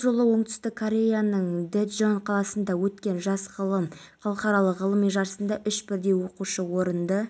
бүгінде ұлттық деңгейдегі мәдени бренд статусы бар халықаралық жобасы аясында астана қаласы әкімдігімен бірлесіп фестивалі өтуде